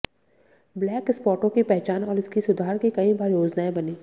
black स्पॉटों की पहचान और इसकी सुधार की कई बार योजनाएं बनी